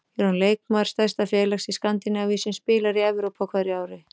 Ég er orðinn leikmaður stærsta félags í Skandinavíu, sem spilar í Evrópu á hverju ári.